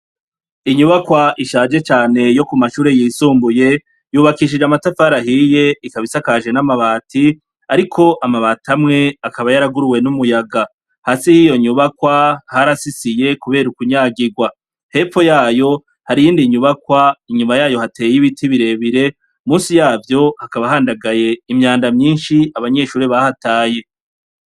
Inyubakwa ishaje cane yo ku mashure yisumbuye yubakishije amatafarahiye ikabisakaje n'amabati, ariko amabati amwe akaba yaraguruwe n'umuyaga hasi hiyo nyubakwa harasisiye, kubera ukunyagirwa hepo yayo hariyo indi nyubakwa inyuma yayo hateye ibiti birebire musi yabo vyo hakaba handagaye imyanda myinshi abanyeshure bahataye.